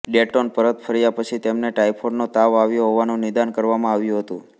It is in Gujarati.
ડેટોન પરત ફર્યા પછી તેમને ટાયફોઈડનો તાવ આવ્યો હોવાનું નિદાન કરવામાં આવ્યું હતું